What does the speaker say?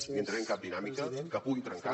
ni entraré en cap dinàmica que pugui trencar